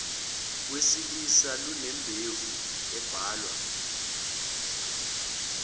wesilisa lunembewu ebalwa